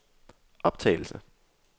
optagelse